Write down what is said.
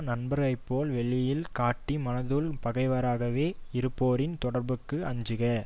நண்பரைப்போல் வெளியில் காட்டி மனத்துள் பகைவராகவே இருப்போரின் தொடர்புக்கு அஞ்சுக